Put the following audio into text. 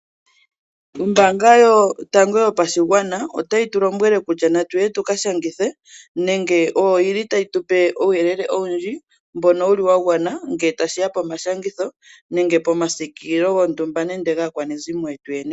Ombaanga yotango yopashigwana otayi tu lombwele kutya natuye tuka shangithe, nenge oyo yili tayi tupe uuyelele owundji mbono wuli wa gwana ngele tashiya po mashangitho, nenge pomasikililo gontumba, nenge gaakwanezimo yetu.